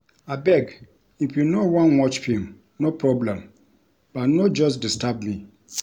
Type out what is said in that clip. Abeg if you no wan watch film no problem but no just disturb me